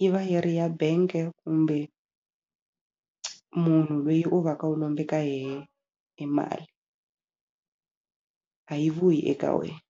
yi va yi ri ya bank-e kumbe munhu lweyi u va ka u lombe ka yehe e mali a yi vuyi eka wena.